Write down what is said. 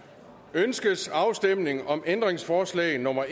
ønskes afstemning om ændringsforslag nummer